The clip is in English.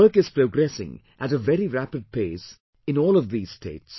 Work is progressing at a very rapid pace in all of these states